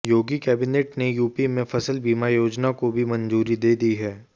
योगी cabinet ने UP में फसल बीमा योजना को भी मंजूरी दे दी है